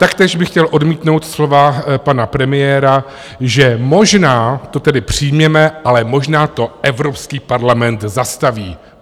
Taktéž bych chtěl odmítnout slova pana premiéra, že možná to tedy přijměme, ale možná to Evropský parlament zastaví.